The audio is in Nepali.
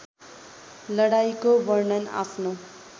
लडाईँँको वर्णन आफ्नो